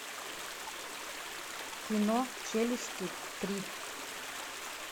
кино челюсти три